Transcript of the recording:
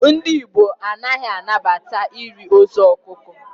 Ndị gbo ha a na-anabata iri ozu ọkụkọ?